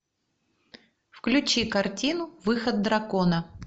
включи картину выход дракона